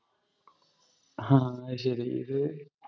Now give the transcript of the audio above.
ഹാ, അത് ശരി. ഇത്